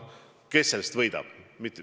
Kes sellest võidab?